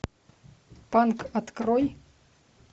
панк открой